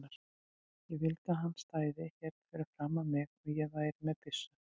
Ég vildi að hann stæði hérna fyrir framan mig og ég væri með byssu.